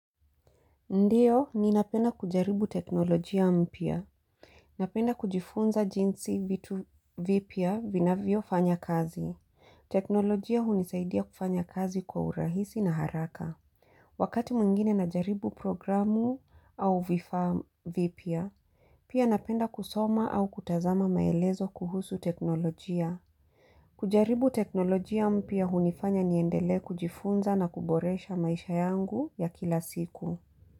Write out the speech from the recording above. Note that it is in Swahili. Ndiyo, ninapenda kujaribu teknolojia mpya. Napenda kujifunza jinsi vitu vipya vinavyofanya kazi. Teknolojia hunisaidia kufanya kazi kwa urahisi na haraka. Wakati mwingine najaribu programu au vifaa vipya, pia napenda kusoma au kutazama maelezo kuhusu teknolojia. Kujaribu teknolojia mpya hunifanya niendelee kujifunza na kuboresha maisha yangu ya kila siku.